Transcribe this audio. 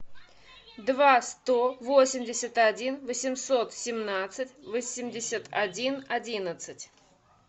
два сто восемьдесят один восемьсот семнадцать восемьдесят один одиннадцать